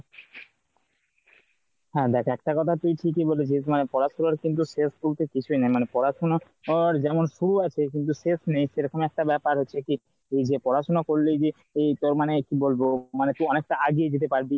হ্যাঁ দেখ একটা কথা তুই ঠিকই বলেছিস মানে পড়াশোনার কিন্তু শেষ কিন্তু কিছুই নাই মানে পড়াশোনা এর যেমন শুরু আছে কিন্তু শেষ নেই। সেরকম একটা ব্যাপার হচ্ছে কি তুই যে পড়াশোনা করলি গিয়ে তোর মানে কি বলবো মানে তুই অনেকটা আগিয়ে যেতে পারবি